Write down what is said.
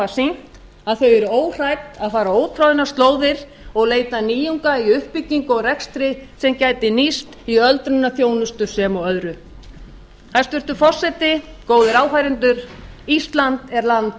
sýnt að þau eru óhrædd að fara ótroðnar slóðir og leita nýjunga í uppbyggingu og rekstri sem gæti nýst í öldrunarþjónustu sem og öðru hæstvirtur forseti góðir áheyrendur ísland er land